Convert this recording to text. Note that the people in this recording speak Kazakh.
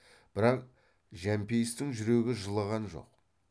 бірақ жәмпейістің жүрегі жылыған жоқ